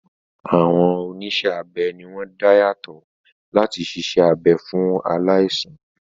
Àwọn oníṣẹ́-abẹ ni wọ́n dáńtọ́ láti siṣẹ́ abẹ fún aláìsàn.